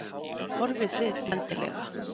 Horfið þið endilega?